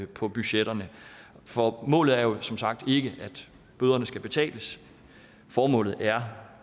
på budgetterne formålet er jo som sagt ikke at bøderne skal betales formålet er